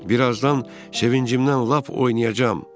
Bir azdan sevincimdən lap oynayacam.